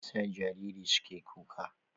Me yasa jarirai suke kuka?